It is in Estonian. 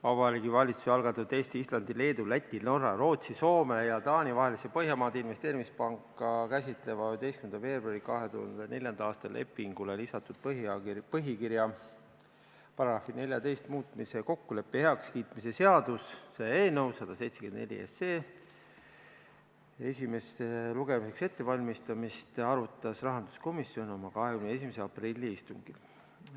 Vabariigi Valitsuse algatatud Eesti, Islandi, Leedu, Läti, Norra, Rootsi, Soome ja Taani vahelise Põhjamaade Investeerimispanka käsitleva 11. veebruari 2004. aasta lepingule lisatud põhikirja paragrahvi 14 muutmise kokkuleppe heakskiitmise seaduse eelnõu 174 esimeseks lugemiseks ettevalmistamist arutas rahanduskomisjon oma 21. aprilli istungil.